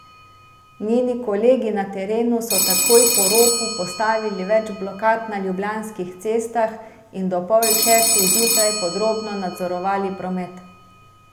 Njeni kolegi na terenu so takoj po ropu postavili več blokad na ljubljanskih cestah in do pol šestih zjutraj podrobno nadzorovali promet.